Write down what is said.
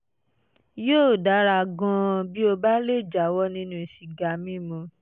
yóò dára gan-an bí ó bá lè jáwọ́ nínú sìgá mímu